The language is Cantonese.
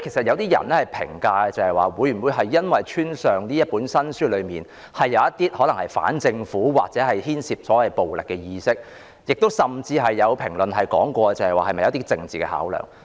有些人推測是否因為這本新書中可能牽涉反政府或暴力意識，甚至有人推斷是否基於政治考量。